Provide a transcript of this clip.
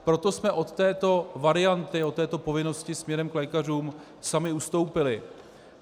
Proto jsme od této varianty, od této povinnosti směrem k lékařům sami ustoupili.